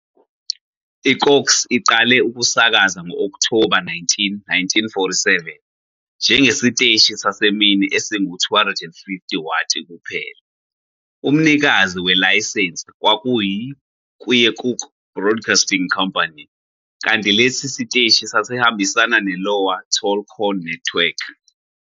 I-KOKX iqale ukusakaza ngo-Okthoba 19, 1947, njengesiteshi sasemini esingu-250-watt kuphela. Umnikazi welayisensi kwakuyiKeokuk Broadcasting Company, kanti lesi siteshi sasihambisana ne-Iowa Tall Corn Network.